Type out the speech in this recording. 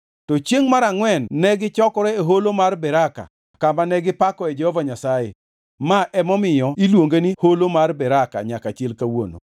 To chiengʼ mar angʼwen negichokore e Holo mar Beraka kama ne gipakoe Jehova Nyasaye. Ma emomiyo iluonge ni Holo mar Beraka nyaka chil kawuono.